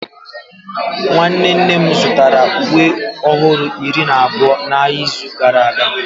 nwanne nne m zụtara uwe ọhụrụ iri na abụọ n'ahịa n'izu gara aga